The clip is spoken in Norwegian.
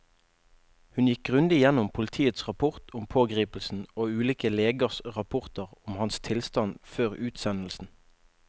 Hun gikk grundig gjennom politiets rapport om pågripelsen og ulike legers rapporter om hans tilstand før utsendelsen.